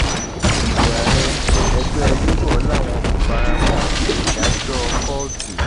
ìdìbò ààrẹ ẹgbẹ labour làwọn kò fara mọ ìdájọ kóòtù